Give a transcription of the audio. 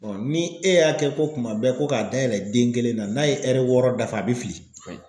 ni e y'a kɛ ko kuma bɛɛ ko k'a dayɛlɛ den kelen na n'a ye ɛri wɔɔrɔ dafa a bɛ fili.